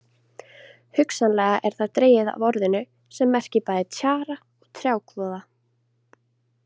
Hugsanlega er það dregið af orðinu sem merkir bæði tjara og trjákvoða.